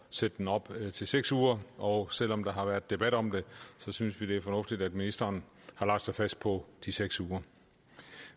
sætte den op til seks uger og selv om der været debat om det synes vi det er fornuftigt at ministeren har lagt sig fast på de seks uger